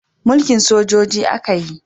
Mulkin sojoji a ka yi